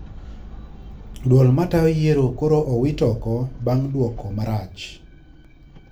Duol matayo yiero koro owit oko bang` duoko marach